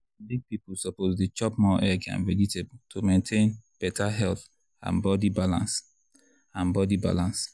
big people suppose dey chop more egg and vegetable to maintain better health and body balance. and body balance.